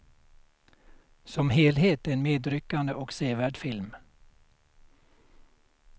Som helhet en medryckande och sevärd film.